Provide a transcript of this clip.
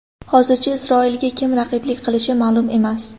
Hozircha Isroilga kim raqiblik qilishi ma’lum emas.